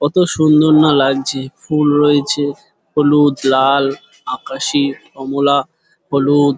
কত সুন্দর না লাগছে ফুল রয়েছে হলুদ লাল আকাশি কমলা হলুদ।